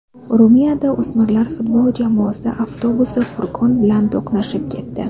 Ruminiyada o‘smirlar futbol jamoasi avtobusi furgon bilan to‘qnashib ketdi.